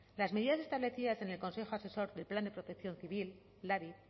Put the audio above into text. las medidas establecidas en el consejo asesor de plan de protección civil labi